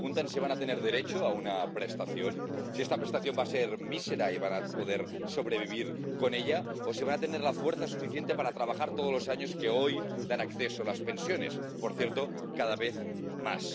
Se preguntan si van a tener derecho a una prestación, si esta prestación va a ser mísera y si van a poder sobrevivir con ella, o si van a tener la fuerza suficiente para trabajar todos los años que hoy dan acceso a las pensiones —por cierto, cada vez más—.